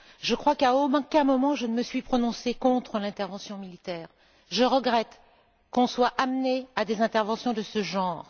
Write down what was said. Je crois qu'à aucun moment je ne me suis prononcée contre l'intervention militaire, je regrette que l'on soit amené à des interventions de ce genre.